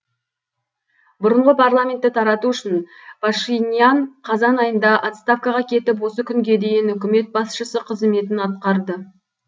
бұрынғы парламентті тарату үшін пашинян қазан айында отставкаға кетіп осы күнге дейін үкімет басшысы қызметін атқарды